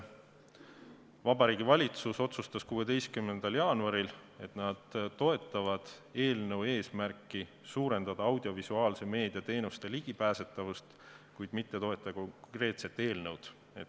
Vabariigi Valitsus otsustas 16. jaanuaril, et nad toetavad eelnõu eesmärki suurendada audiovisuaalse meedia teenustele ligipääsemist, kuid otsustas mitte toetada konkreetset eelnõu.